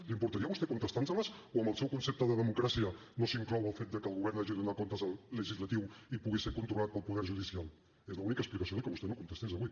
li importaria a vostè contestar nos les o en el seu concepte de democràcia no s’inclou el fet de que el govern hagi de donar comptes al legislatiu i pugui ser controlat pel poder judicial és l’única explicació que vostè no contestés avui